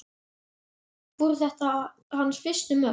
Voru þetta hans fyrstu mörk?